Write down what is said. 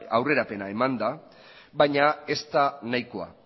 aurrerapena eman da baina ez da nahikoa